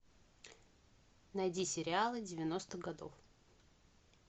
найди сериалы девяностых годов